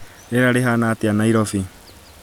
rĩera rĩhaana atĩa Nairobi